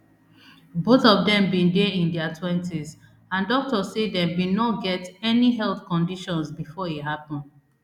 both of dem bin dey in dia twenties and doctors say dem bin no get any health conditions before e happun